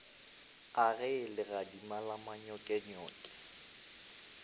a ge legadima la manyokenyoke